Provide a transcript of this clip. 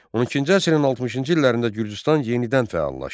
12-ci əsrin 60-cı illərində Gürcüstan yenidən fəallaşdı.